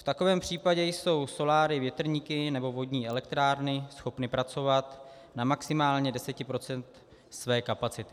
V takovém případě jsou soláry, větrníky nebo vodní elektrárny schopny pracovat na maximálně 10 % své kapacity.